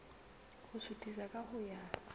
ho suthisa ka ho ya